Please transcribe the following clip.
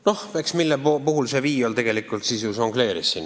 Noh, eks niimoodi see Viiol tegelikult ju žongleeris.